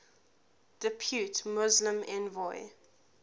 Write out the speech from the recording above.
depute muslim envoy